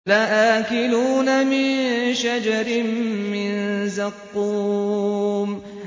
لَآكِلُونَ مِن شَجَرٍ مِّن زَقُّومٍ